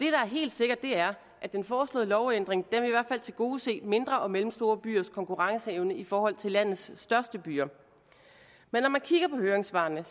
er helt sikkert er at den foreslåede lovændring i tilgodese mindre og mellemstore byers konkurrenceevne i forhold til landets største byer men når man kigger på høringssvarene